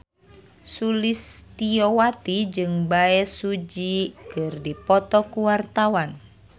Sulistyowati jeung Bae Su Ji keur dipoto ku wartawan